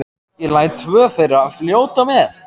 Ég læt tvö þeirra fljóta með.